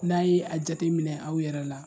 N'a' ye a jate minɛ aw yɛrɛ la